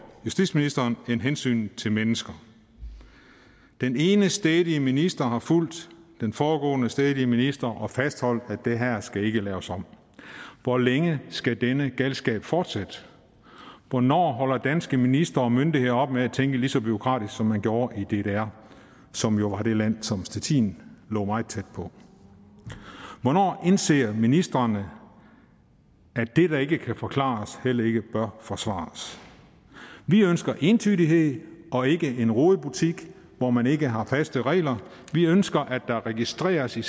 justitsministeren end hensynet til mennesker den ene stædige minister har fulgt den foregående stædige minister og fastholdt at det her ikke skal laves om hvor længe skal denne galskab fortsætte hvornår holder danske ministre og myndigheder op med at tænke lige så bureaukratisk som man gjorde i ddr som jo var det land som stettin lå meget tæt på hvornår indser ministrene at det der ikke kan forklares heller ikke bør forsvares vi ønsker entydighed og ikke en rodebutik hvor man ikke har faste regler vi ønsker at der registreres i